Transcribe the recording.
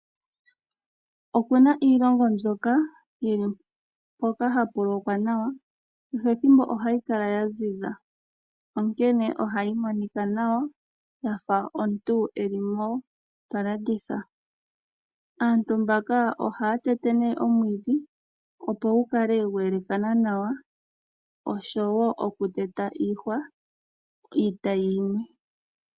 Opu na iilongo mbyoka yili mpoka hapu lokwa nawa, kehe ethimbo ohayi kala ya ziza. Onkene ohayi monika nawa, yafa omuntu eli mo ta landitha. Aantu mbaka ohaya tete nee omwiidhi opo gu kale gweelekana nawa oshowo oku teta iihwa iitayi yimwe.